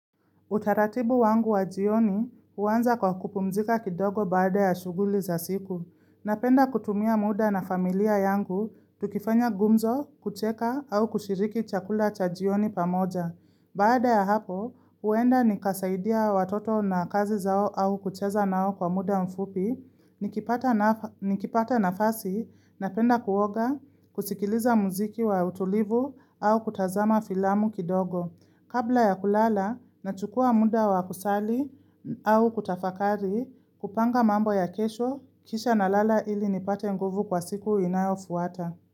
Utaratibu wangu wa jioni huanza kwa kupumzika kidogo baada ya shughuli za siku. Napenda kutumia muda na familia yangu, tukifanya gumzo, kucheka au kushiriki chakula cha jioni pamoja. Baada ya hapo, huenda nikasaidia watoto na kazi zao au kucheza nao kwa muda mfupi, nikipata nafasi, napenda kuoga, kusikiliza muziki wa utulivu au kutazama filamu kidogo. Kabla ya kulala nachukua muda wa kusali au kutafakari kupanga mambo ya kesho kisha nalala ili nipate nguvu kwa siku inayofuata.